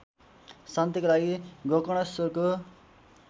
शान्तिका लागि गोकर्णेश्वरको